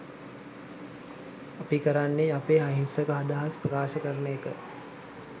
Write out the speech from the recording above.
අපි කරන්නේ අපේ අහිංසක අදහස් ප්‍රකාශ කරන එක.